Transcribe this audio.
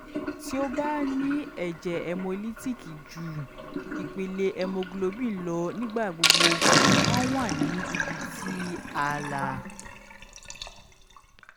ti o ba ni ẹjẹ hemolytic ju ipele haemoglobin lọ nigbagbogbo maa wa ni ibiti aala